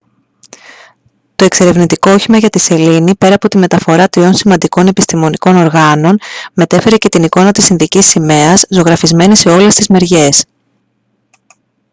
το εξερευνητικό όχημα για τη σελήνη πέρα από τη μεταφορά τριών σημαντικών επιστημονικών οργάνων μετέφερε και την εικόνα της ινδικής σημαίας ζωγραφισμένη σε όλες τις μεριές